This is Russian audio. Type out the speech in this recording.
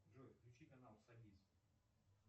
джой включи канал собис